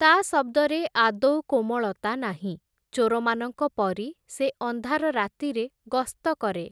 ତା’ ଶଦ୍ଦରେ ଆଦୌ କୋମଳତା ନାହିଁ, ଚୋରମାନଙ୍କ ପରି ସେ ଅନ୍ଧାର ରାତିରେ ଗସ୍ତ କରେ ।